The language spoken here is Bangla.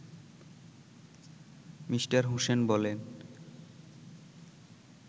মি. হোসেন বলেন